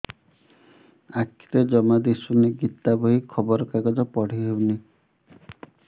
ଆଖିରେ ଜମା ଦୁଶୁନି ଗୀତା ବହି ଖବର କାଗଜ ପଢି ହଉନି